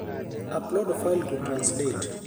Upload file to tranislate